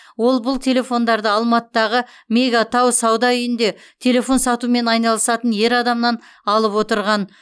ол бұл телефондарды алматыдағы мега тау сауда үйінде телефон сатумен айналысатын ер адамнан алып отырған